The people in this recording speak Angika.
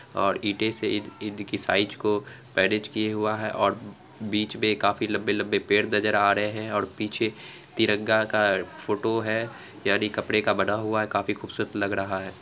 और ईटे से ईट की साइज को मैनेज किये हुआ है और बीच में काफी लंबे-लंबे पेड़ नजर आ रहे हैं और पीछे तिरंगा का फोटो है यानि कपड़े का बना हुआ है काफी खूबसूरत लग रहा है।